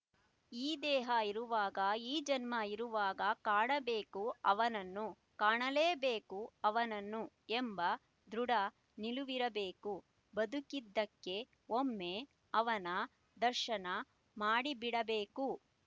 ಈ ದೇಹ ಇರುವಾಗ ಈ ಜನ್ಮ ಇರುವಾಗ ಕಾಣಬೇಕು ಅವನನ್ನು ಕಾಣಲೇ ಬೇಕು ಅವನನ್ನು ಎಂಬ ದೃಢ ನಿಲುವಿರಬೇಕು ಬದುಕಿದ್ದಕ್ಕೆ ಒಮ್ಮೆ ಅವನ ದರ್ಶನ ಮಾಡಿಬಿಡಬೇಕು